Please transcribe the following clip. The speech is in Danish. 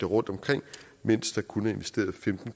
rundtomkring mens der kun er investeret femten